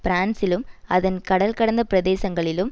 பிரான்சிலும் அதன் கடல் கடந்த பிரதேசங்களிலும்